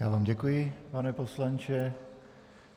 Já vám děkuji, pane poslanče.